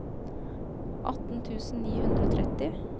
atten tusen ni hundre og tretti